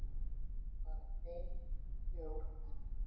Bara ein jól enn.